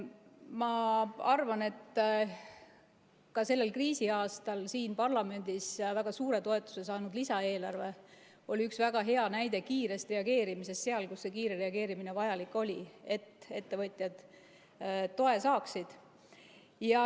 Ma arvan, et ka sellel kriisiaastal siin parlamendis väga suure toetuse saanud lisaeelarve oli üks väga hea näide kiire reageerimise kohta seal, kus see kiire reageerimine vajalik oli, selleks et ettevõtjad toe saaksid.